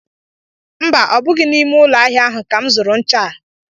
Mba, ọ bụghị n'ime ụlọ ahịa ahụ ka m zụrụ ncha a